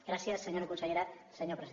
gràcies senyora consellera senyor president